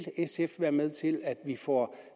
sf være med til at vi får